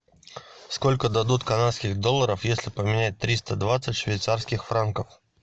сколько дадут канадских долларов если поменять триста двадцать швейцарских франков